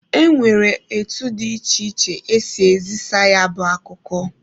E nwekwara etu dị iche iche esi ezisa ya bụ akụkọ.